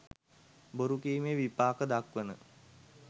බොරුකීමේ විපාක දක්වන